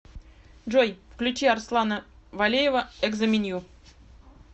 джой включи арслана валеева экзо менью